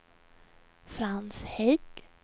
Frans Hägg